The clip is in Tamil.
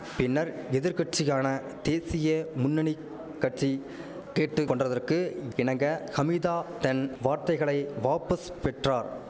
பின்னர் எதிர்க்கட்சிகான தேசிய முன்னணி கட்சி கேட்டு கொண்டதற்கு இணங்க ஹமிதா தன் வார்த்தைகளை வாப்பஸ் பெற்றார்